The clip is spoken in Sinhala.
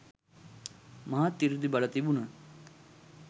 මහත් සෘද්ධිබල තිබුණත්